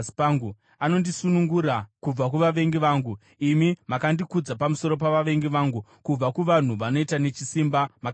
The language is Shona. anondisunungura kubva kuvavengi vangu. Imi makandikudza pamusoro pavavengi vangu; kubva kuvanhu vanoita nechisimba, makandinunura.